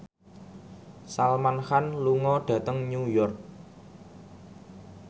Salman Khan lunga dhateng New York